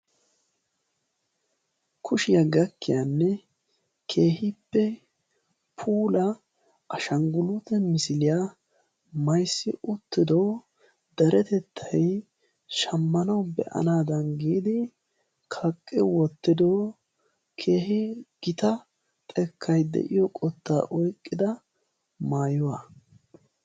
Kushiyaa gakkiyaanne keehippe puulaa ashanguluute misiliya mayzzi uttido deretettay shammanawu be"anaadan giidi kaqqi wottido keehi gita xekkay de"iyoo qottaa oqqida maayuwa.